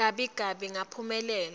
gabi gabi ngaphumelela